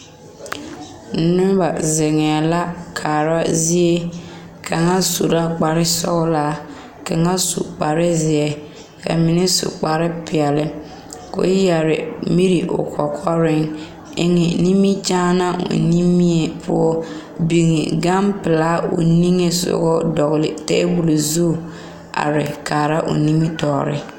Noba zeŋ la kaara zie kaa kaŋa su la kpare sɔgelɔ kaŋa kpar zie a mine su kpar peɛle ko o yɛrɛ miri o kɔkɔreŋ eŋe nimikyaanaa o nimipoɔ o biŋ gampelaa o ninsoga dɔgele taabol zu are kaara o nimitɔɔre